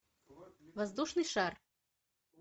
воздушный шар